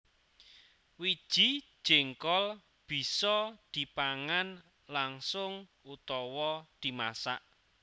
Wiji jéngkol bisa dipangan langsung utawa dimasak